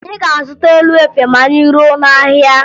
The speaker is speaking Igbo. Anyị ga-azụta elu efe ma anyị ruo n'ahịa